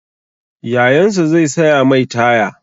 Yayansa zai saya mai taya.